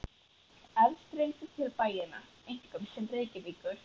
Aðstreymið til bæjanna, einkum til Reykjavíkur.